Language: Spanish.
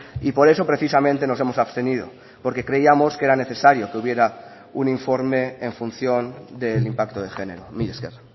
y por eso precisamente nos hemos abstenido porque creíamos que era necesario que hubiera un informe en función del impacto de género mila esker